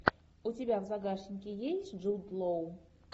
у тебя в загашнике есть джуд лоу